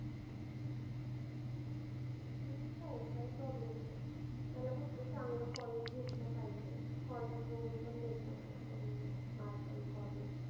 होऊन जाईल काय problem नाही. त्याला फक्त चांगलं college भेटलं पाहिजे. College बघून पण देतात बघ loan त्याला mark अन college.